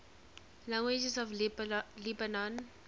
languages of lebanon